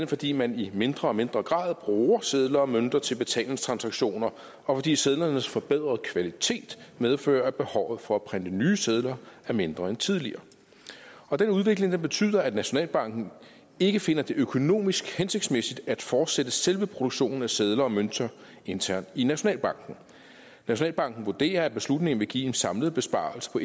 fordi man i mindre og mindre grad bruger sedler og mønter til betalingstransaktioner og fordi sedlernes forbedrede kvalitet medfører at behovet for at printe nye sedler er mindre end tidligere den udvikling betyder at nationalbanken ikke finder det økonomisk hensigtsmæssigt at fortsætte selve produktionen af sedler og mønter internt i nationalbanken nationalbanken vurderer at beslutningen vil give en samlet besparelse på